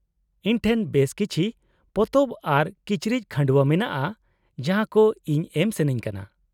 -ᱤᱧ ᱴᱷᱮᱱ ᱵᱮᱥ ᱠᱤᱪᱷᱤ ᱯᱚᱛᱚᱵ ᱟᱨ ᱠᱤᱪᱨᱤᱡ ᱠᱷᱟᱺᱰᱣᱟᱹ ᱢᱮᱱᱟᱜᱼᱟ ᱡᱟᱦᱟᱸ ᱠᱚ ᱤᱧ ᱮᱢ ᱥᱟᱹᱱᱟᱹᱧ ᱠᱟᱱᱟ ᱾